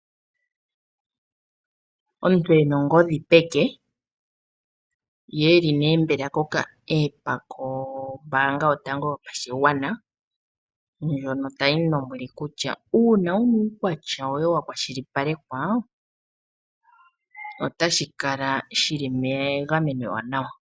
Omuntu ena ongodhi peke ye eli mbela koka appa kombanga yotango yopashigwana ndyono tayi mu lombwele kutya uuna wuna uukwatya woye wa kwashilipalekwa otashi kala shili mgameno ewanawa.